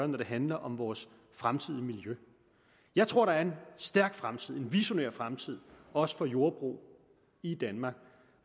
når det handler om vores fremtidige miljø jeg tror der er en stærk fremtid en visionær fremtid også for jordbrug i danmark